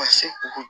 Ka se o